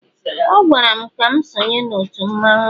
ọ gwara m ka m sonye n'òtù mmanwu ya